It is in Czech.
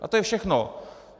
A to je všechno!